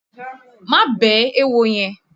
Má bẹ̀ẹ́ éwo yẹn!